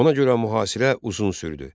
Ona görə mühasirə uzun sürdü.